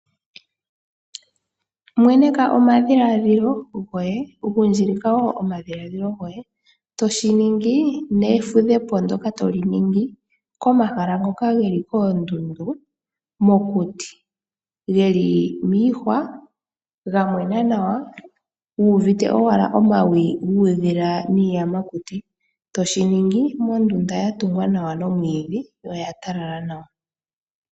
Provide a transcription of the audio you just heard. Mweneka omadhilaadhilo goye, gundjilika wo omadhiladhilo goye toshi ningi, nefudhepo ndyoka toli ningi komahala ngoka geli koondundu, mokuti. Geli miihwa, gamwena nawa, uuvite owala omawi guudhila niiyamakuti. Toshi ningi mondunda yatungwa nawa nomwiidhi, yo oya talala nawa.